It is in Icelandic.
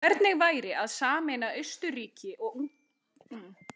Hvernig væri að sameina Austurríki-Ungverjaland aftur?